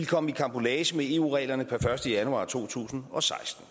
kommet i karambolage med eu reglerne per første januar to tusind og seksten